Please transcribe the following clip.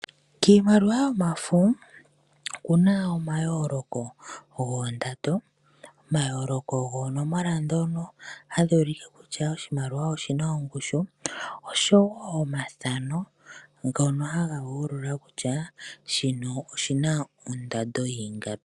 Kiimaliwa yomafa okuna omayooloko goondando, omayooloko goonomola dhono hadhi ulike kutya oshimaliwa oshina ongushu, osho woo omathano ngono haga yoolola kutya shino oshina oondando yiingapi.